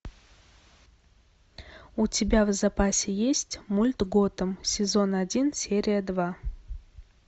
у тебя в запасе есть мульт готэм сезон один серия два